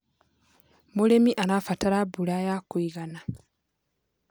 Mũrĩmi arabataraga mbura ya kũigana.